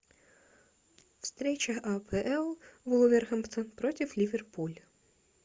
встреча апл вулверхэмптон против ливерпуль